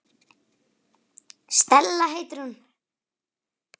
Stella heitir hún.